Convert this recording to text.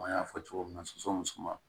An y'a fɔ cogo min na sɔsɔ ni suman